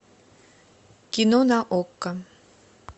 кино на окко